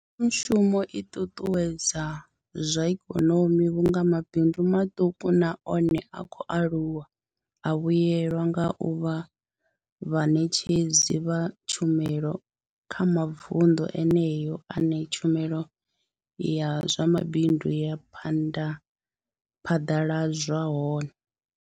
Mbekanyamushumo i ṱuṱuwedza zwa ikonomi vhunga mabindu maṱuku na one a khou aluwa a vhuelwa nga u vha vhaṋetshedzi vha tshumelo kha mavunḓu eneyo ane tshumelo ya zwa mabindu ya phaḓaladzwa hone.